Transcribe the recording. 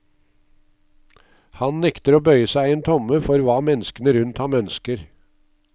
Han nekter å bøye seg en tomme for hva menneskene rundt ham ønsker.